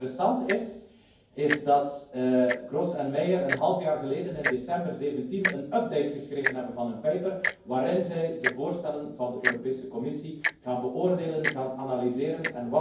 Wat interessant is, is dat Gross en Meyer een half jaar geleden, in december 2017, een update geschreven hebben van hun paper waarin zij de voorstellen van de Europese Commissie beoordelen en analyseren.